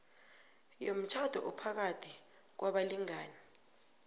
yomtjhado ophakathi kwabalingani